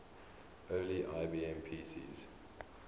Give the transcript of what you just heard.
early ibm pcs